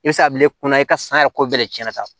I bɛ se ka bila kunna i ka san yɛrɛ ko bɛɛ de cɛn na